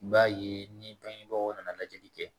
I b'a ye ni bangebagaw nana lajɛli kɛ